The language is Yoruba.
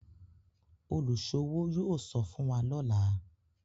oluṣowo yóò sọfún wá lọla